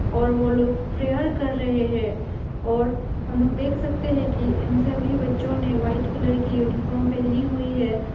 और वो लोग प्रेयर कर रहे हैं और हम लोग देख सकते हैं कि इन सभी बच्चों ने व्हाइट कलर की यूनिफॉर्म पहनी हुई है।